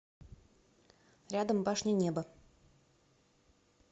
рядом башня небо